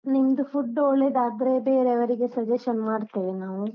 ನಿಮ್ದು food ಒಳ್ಳೆದಾದ್ರೆ ಬೇರೆಯವರಿಗೆ suggestion ಮಾಡ್ತೇವೆ ನಾವು.